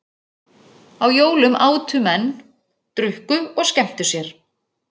Á jólum átu menn, drukku og skemmtu sér.